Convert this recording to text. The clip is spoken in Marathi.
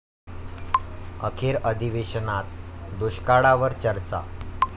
अखेर अधिवेशनात दुष्काळावर चर्चा